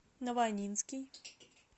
новоаннинский